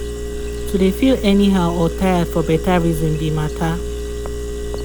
to de feel any how or tired for better reason be matter.